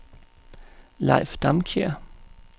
Leif Damkjær